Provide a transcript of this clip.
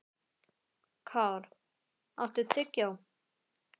Kár, áttu tyggjó?